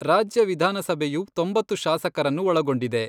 ರಾಜ್ಯ ವಿಧಾನಸಭೆಯು ತೊಂಬತ್ತು ಶಾಸಕರನ್ನು ಒಳಗೊಂಡಿದೆ.